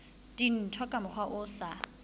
dintho ka mokgwa o sa